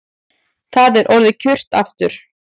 Það er orðið kyrrt aftur